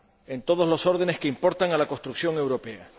en todos los órdenes que importan a la construcción europea.